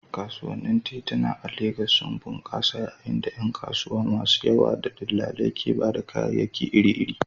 Kasuwannin tituna a Legas sun bunƙasa yayin da ƴan kasuwa masu yawa da dillalai ke ba da kayayyaki iri-iri.